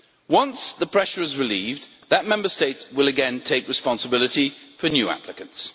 Once the pressure is relieved, that Member State will again take responsibility for new applicants.